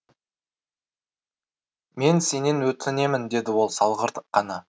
мен сенен өтінемін деді ол салғырт қана